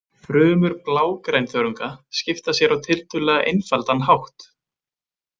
Frumur blágrænþörunga skipta sér á tiltölulega einfaldan hátt.